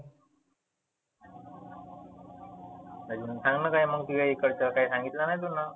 मग सांगना तुझ्या इकडच, काही सांगितलं नाही तुनं